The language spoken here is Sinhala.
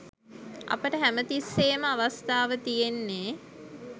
අපට හැම තිස්සේම අවස්ථාව තියෙන්නේ